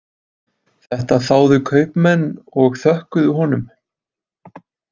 Þetta þáðu kaupmenn og þökkuðu honum.